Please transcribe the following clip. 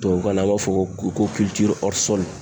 Tubabukan na an b'a fɔ ko